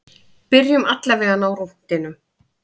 Byrjum allavega á rúntinum.